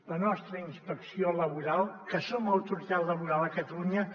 la nostra inspecció laboral que som autoritat laboral a catalunya